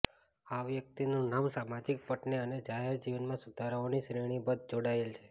આ વ્યક્તિનું નામ સામાજિક પટને અને જાહેર જીવનમાં સુધારાઓની શ્રેણીબદ્ધ જોડાયેલ છે